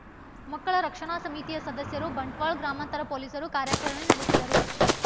ಮಕ್ಕಳ ರಕ್ಷಣಾ ಸಮಿತಿಯ ಸದಸ್ಯರು ಬಂಟ್ವಾಳ ಗ್ರಾಮಾಂತರ ಪೊಲೀಸರು ಕಾರ್ಯಚರಣೆ ನಡೆಸಿದರು